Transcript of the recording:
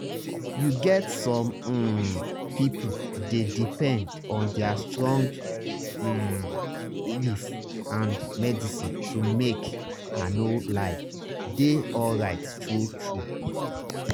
you get some um people dey depend on their strong um belief and medicine to make i no lie dey alright true-true.